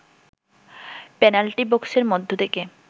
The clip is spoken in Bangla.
পেনাল্টি বক্সের মধ্যে থেকে